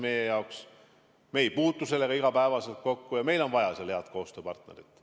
Me ei puutu sellega igapäevaselt kokku ja meil on seal vaja head koostööpartnerit.